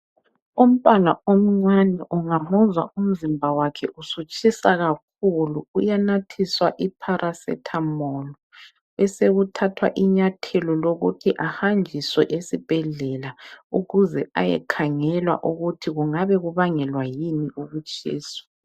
Umntwana omncane ungamuzwa umzimba wakhe usutshisa kakhulu uyanathiswa i pharasethamolu besekuthathwa inyathelo lokuthi ahanjiswe esibhedlela ukuze ayekhangelwa ukuthi kungabe kubangelwa yini ukutshisa.